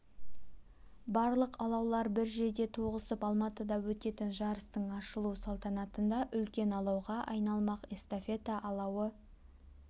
барлық алаулар бір жерде тоғысып алматыда өтетін жарыстың ашылу салтанатында үлкен алауға айналмақ эстафета алауы